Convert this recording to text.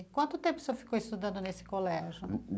E quanto tempo o senhor ficou estudando nesse colégio?